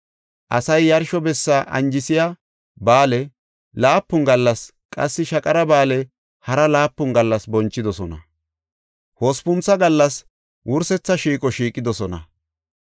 Asay yarsho bessa anjisiya ba7aale laapun gallas qassi Shaqara Ba7aale hara laapun gallas bonchidosona. Hospuntha gallas wursetha shiiqo shiiqidosona.